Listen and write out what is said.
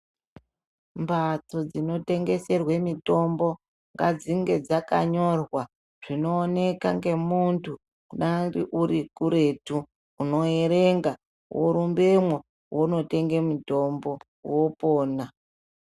Mbatso dzinotengeserwa mitombo ngadzinge dzakanyorwa zvinooneka ngemuntu kudayi uri kuretu. Unoerenga worumbemwo wonotenga mutombo wopona.